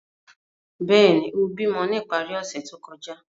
Bẹẹni, o bimọ ni ipari ose to kọja.